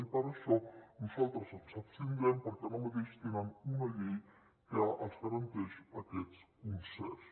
i per això nosaltres ens abstindrem perquè ara mateix tenen una llei que els garanteix aquests concerts